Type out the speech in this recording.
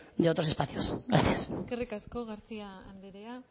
de otros espacios gracias eskerrik asko garcía anderea